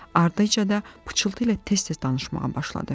Ardınca da pıçıltı ilə tez-tez danışmağa başladı.